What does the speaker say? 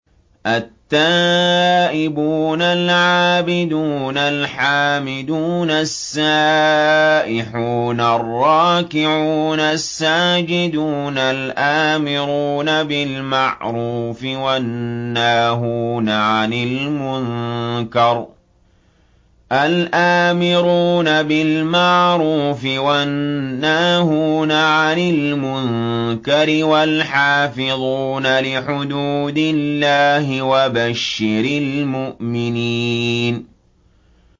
التَّائِبُونَ الْعَابِدُونَ الْحَامِدُونَ السَّائِحُونَ الرَّاكِعُونَ السَّاجِدُونَ الْآمِرُونَ بِالْمَعْرُوفِ وَالنَّاهُونَ عَنِ الْمُنكَرِ وَالْحَافِظُونَ لِحُدُودِ اللَّهِ ۗ وَبَشِّرِ الْمُؤْمِنِينَ